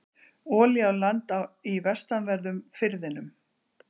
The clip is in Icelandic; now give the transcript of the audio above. Olía á land í vestanverðum firðinum